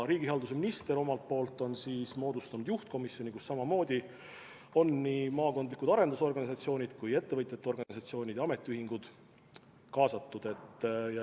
Riigihalduse minister omalt poolt on moodustanud juhtkomisjoni, kuhu samamoodi on kaasatud nii maakondlikud arendusorganisatsioonid kui ka ettevõtjate organisatsioonid ja ametiühingud.